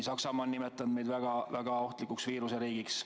Saksamaa on nimetanud meid väga-väga ohtlikuks viiruseriigiks.